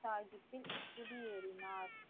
சாகிப்பில் குடியேறினார்